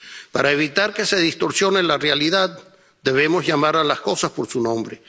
Para evitar que se distorsione la realidad, debemos llamar a las cosas por su nombre.